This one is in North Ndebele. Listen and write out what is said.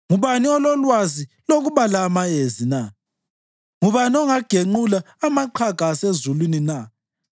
Ngubani ololwazi lokubala amayezi na? Ngubani ongagenqula amaqhaga asezulwini na